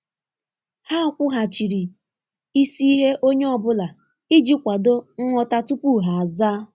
Ha kwughachiri isi ihe onye ọ bụla iji kwado nghọta tupu ha azaa.